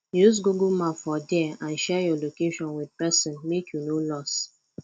use google map for there and share your location with persin make you no lost